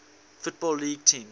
football league teams